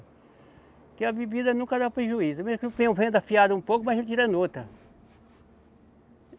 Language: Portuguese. Porque a bebida nunca dá prejuízo, mesmo que eu venda afiada um pouco, mas eu tiro em outra.